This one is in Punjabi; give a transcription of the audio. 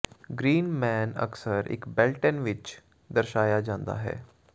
ਗ੍ਰੀਨ ਮੈਨ ਅਕਸਰ ਇੱਕ ਬੇਲਟੇਨ ਵਿੱਚ ਦਰਸਾਇਆ ਜਾਂਦਾ ਹੈ